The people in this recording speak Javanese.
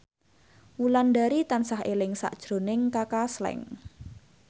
Wulandari tansah eling sakjroning Kaka Slank